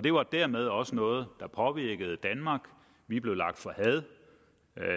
det var dermed også noget der påvirkede danmark vi blev lagt for had